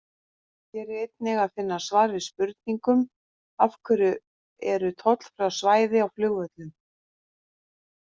Hér er einnig að finna svar við spurningunum: Af hverju eru tollfrjáls svæði á flugvöllum?